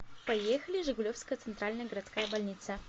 поехали жигулевская центральная городская больница